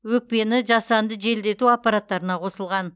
өкпені жасанды желдету аппараттарына қосылған